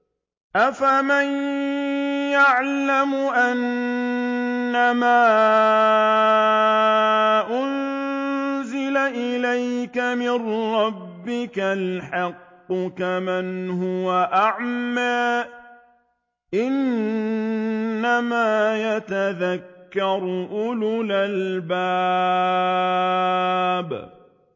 ۞ أَفَمَن يَعْلَمُ أَنَّمَا أُنزِلَ إِلَيْكَ مِن رَّبِّكَ الْحَقُّ كَمَنْ هُوَ أَعْمَىٰ ۚ إِنَّمَا يَتَذَكَّرُ أُولُو الْأَلْبَابِ